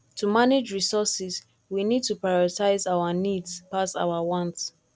to manage resources we need to prioritize our needs pass our want